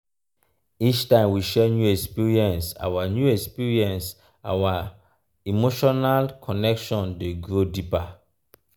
every time we share new experience our new experience our emotional connection dey grow deeper.